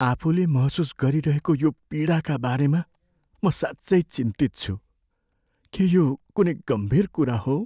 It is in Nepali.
आफूले महसुस गरिरहेको यो पीडाका बारेमा म साँच्चै चिन्तित छु। के यो कुनै गम्भीर कुरा हो?